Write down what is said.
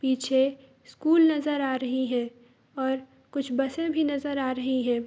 पीछे स्कूल नजर आ रही है और कुछ बसें भी नजर आ रही है।